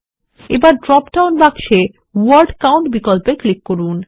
এখন ড্রপডাউন বাক্সে word count বিকল্পে ক্লিক করুন